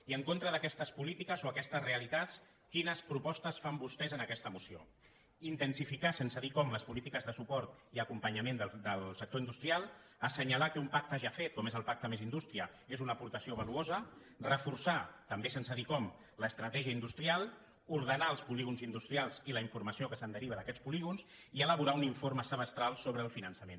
i en contra d’aquestes polítiques o aquestes realitats quines propostes fan vostès en aquesta moció intensificar sense dir com les polítiques de suport i acompanyament del sector industrial assenyalar que un pacte ja fet com és el pacte més indústria és una aportació valuosa reforçar també sense dir com l’estratègia industrial ordenar els polígons industrials i la informació que se’n deriva d’aquests polígons i elaborar un informe semestral sobre el finançament